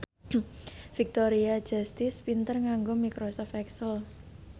Victoria Justice pinter nganggo microsoft excel